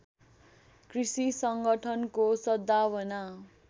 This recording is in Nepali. कृषि सङ्गठनको सद्भावना